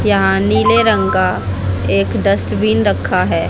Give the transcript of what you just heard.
यहां नीले रंग का एक डस्टबिन रखा है।